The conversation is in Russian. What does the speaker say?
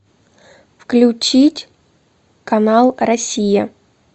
включить канал россия